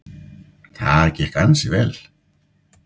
Það gekk ansi vel.